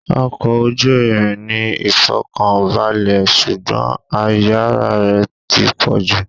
Ọkọ̀ ojú irin ní ìfọ̀kànbalè, ṣùgbọ́n àìyára rẹ̀ ti pọ̀jù.